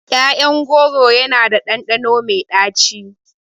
ƴaƴan goro yana da ɗanɗano mai ɗaci.